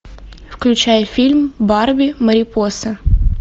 включай фильм барби марипоса